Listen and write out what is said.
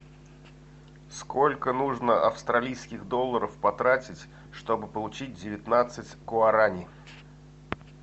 сколько нужно австралийских долларов потратить чтобы получить девятнадцать гуарани